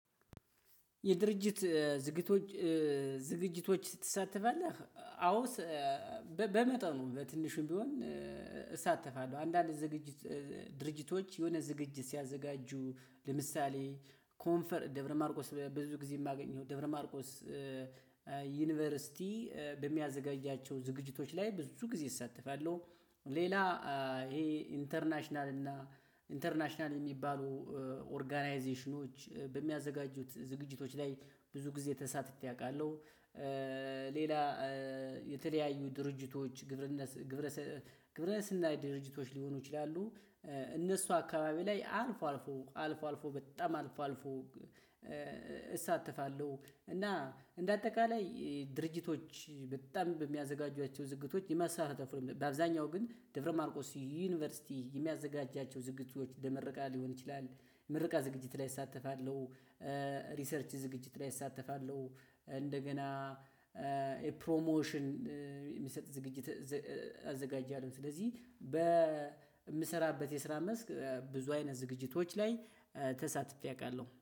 የድርጅት ዝግጅቶች ዝግጅቶች ትሳተፋለህ? አዎ በመጠኑ በትንሹም ቢሆን እሳተፋለሁ። አንዳንድ ዝግጅት ድርጅቶች የሆነ ዝግጅት ሲያዘጋጁ ለምሳሌ ኮንፈርት ደብረማርቆስ በብዙ ጊዜ የማገኘው ደብረማርቆስ ዩኒቨርሲቲ በሚያዘጋጃቸው ዝግጅቶች ላይ ብዙ ጊዜ እሳተፋለሁ። ሌላ ይሄ ኢንተርናሽናል እና ኢንተርናሽናል የሚባሉ ኦርጋናይዜሽኖች በሚያዘጋጁት ዝግጅቶች ላይ ብዙ ጊዜ ተሳትፌ አውቃለሁ። ሌላ የተለያዩ ድርጅቶች ግብረነስ ግብረ ግብረ ስናይ ድርጅቶች ሊሆኑ ይችላሉ። እነሱ አካባቢ ላይ አልፎ አልፎ አልፎ አልፎ በጣም አልፎ አልፎ እሳተፋለሁ። እና እንደ አጠቃላይ ድርጅቶች በጣም በሚያዘጋጁያቸው ዝግቶች የመስራት በአብዛኛው ግን ደብረማርቆስ ዩኒቨርሲቲ የሚያዘጋጃቸው ዝግጁዎች የምረቃር ሊሆን ይችላል ምርቃ ዝግጅት ላይ እሳተፋለሁ። ሪሰርች ዝግጅት ላይ እሳተፋለሁ። እንደገና ኤ ፕሮሞሽን የሚሰጥ ዝግጅት አዘጋጃለሁ። ስለዚህ በምሰራበት የስራ መስክ ብዙ አይነት ዝግጅቶች ላይ ተሳትፌ አውቃለሁ